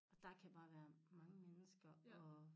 Og der kan bare være mange mennesker og